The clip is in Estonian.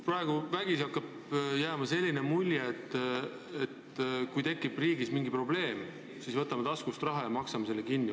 Praegu kipub vägisi jääma selline mulje, et kui riigis tekib mingi probleem, siis võtame taskust raha ja maksame lahenduse kinni.